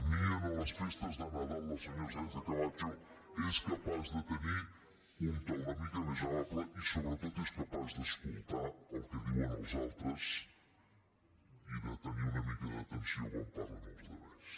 ni en les festes de nadal la senyora sánchez·camacho és capaç de tenir un to una mica més amable i sobre·tot és capaç d’escoltar el que diuen els altres i de te·nir una mica d’atenció quan parlen els altres